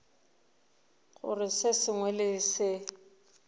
gore se sengwe le se